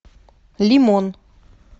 лимон